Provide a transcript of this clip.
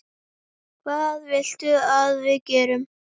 Hvað viltu að við gerum?